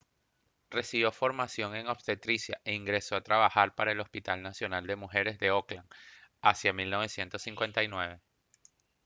recibió formación en obstetricia e ingresó a trabajar para el hospital nacional de mujeres de auckland hacia 1959